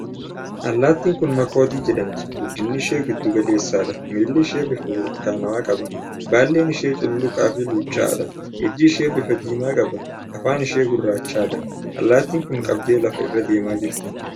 Allaattin kun makoodii jedhamti. Guddinni ishee giddu galeessadha. miilli ishee bifa burtukaanawaa qaba. Baalleen ishee cululuqaa fi luucca'aadha. Ijji ishee bifa diimaa qaba. Afaan ishee gurraachadha. Allaattin kun qabdee lafa irra deemaa jirti.